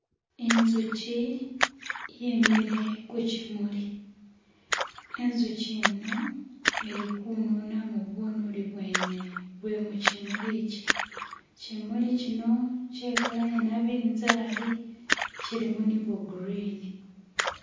inzuchi yemile kuchimuli inzuchi ino ilikununamo bunuli bwene bwemuchimulichi chimuli chino chekala yenabinzali chilimu nibwagurini